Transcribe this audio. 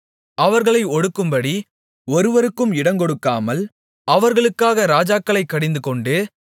அவர்களை ஒடுக்கும்படி ஒருவருக்கும் இடங்கொடுக்காமல் அவர்களுக்காக ராஜாக்களைக் கடிந்துகொண்டு